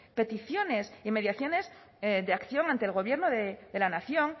peticiones y mediaciones de acción ante el gobierno de la nación